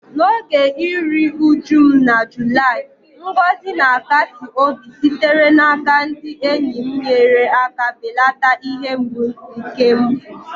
N’oge iru uju m na Julaị, ngọzi na-akasi obi sitere n’aka ndị enyi m nyere aka belata ihe mgbu nke mfu.